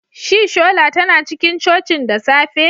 Shi shola tana cikin cocin da safe?